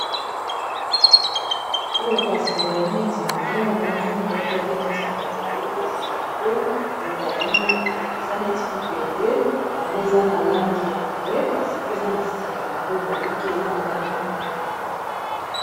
Oyo kasi ezali neti nzongu nzongu moko eza neti ya molai kasi yango eza neti libende yango eza na langi ya mbwe, kasi pe eza na singana yango ebaluki eza na langi ya mwindo.